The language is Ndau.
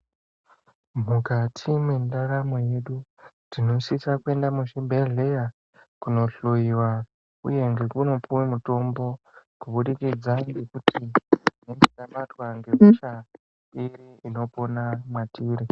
Mukati mwendaramo yedu tinosise kuenda muzvibhedhlera kundohloyiwa uye nekundopuwe mitombo kubudikidza ngekuti tinenge tabatwa ngehosha inopona mwatiri.